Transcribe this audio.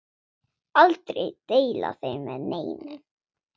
Aldrei deila þeim með neinum.